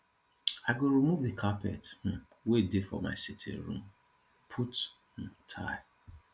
i go remove the carpet um wey dey for my sitting room put um tile